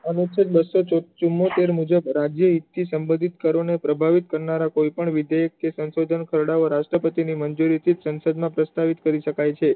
અનુચ્છેદ બસો ને ચુમોત્તેર મુજબ રાજ્ય ઇતિ સંબંધિત કરો ને પ્રભાવિત કરનારાઓ બીજા દેશ કે સંસોધનો એ રાષ્ટ્રપતિ ની મંજૂરી થી સંસદ માં પ્રસ્તાવ કરી શકાય છે